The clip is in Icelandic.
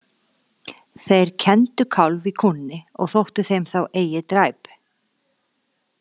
Þeir kenndu kálf í kúnni og þótti þeim þá eigi dræp.